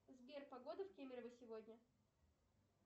сбер погода в кемерово сегодня